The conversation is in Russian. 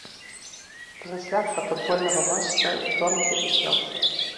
трансляция футбольного матча бернли и челси